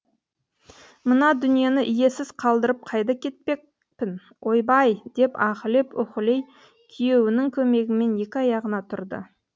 мына дүниені иесіз қалдырып қайда кетпекпін ойбай деп аһілеп уһілей күйеуінің көмегімен екі аяғына тұрды